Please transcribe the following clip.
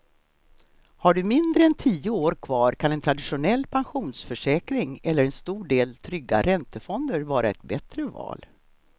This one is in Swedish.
Har du mindre än tio år kvar kan en traditionell pensionsförsäkring eller en stor del trygga räntefonder vara ett bättre val.